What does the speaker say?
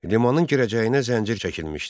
limanın girəcəyinə zəncir çəkilmişdi.